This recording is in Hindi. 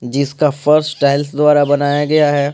जिसका फर्श टाइल्स द्वारा बनाया गया है।